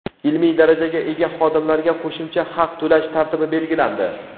Ilmiy darajaga ega xodimlarga qo‘shimcha haq to‘lash tartibi belgilandi.